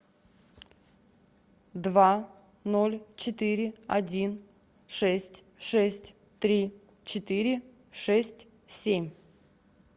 два ноль четыре один шесть шесть три четыре шесть семь